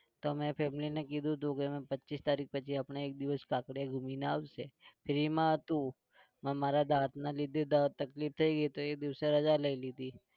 તમે family કીધું હતું કે અમે પચ્ચીસ તારીખ પછી આપણે એક દિવસ કાંકરિયા ગુમીને આવશે free હતું. પણ મારા દાતના લીધે તકલીફ થઇ ગઈ તો એ દિવસે રજા લઇ લીધી.